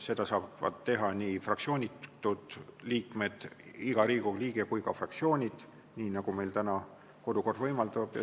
Seda saavad teha nii fraktsioonitud liikmed ja kõik teised Riigikogu liikmed kui ka fraktsioonid, nii nagu meil täna kodukord võimaldab.